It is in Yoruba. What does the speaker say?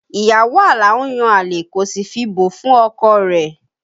Ìyàwó Alao ń yan àlè kò sì fi bò fún ọkọ rẹ̀